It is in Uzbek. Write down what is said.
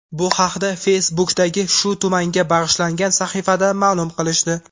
Bu haqda Facebook’dagi shu tumanga bag‘ishlangan sahifada ma’lum qilishdi .